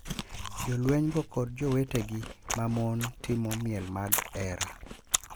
jolwenygo kod jowetegi ma mon timo miel mag hera,